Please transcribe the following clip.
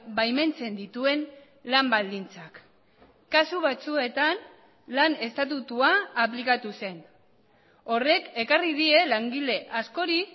baimentzen dituen lan baldintzak kasu batzuetan lan estatutua aplikatu zen horrek ekarri die langile askori